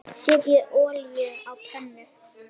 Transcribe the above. Thomas Lang skipti litum.